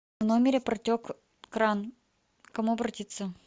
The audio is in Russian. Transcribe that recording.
в номере протек кран к кому обратиться